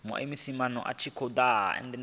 u ima na sia lifhio